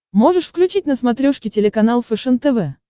можешь включить на смотрешке телеканал фэшен тв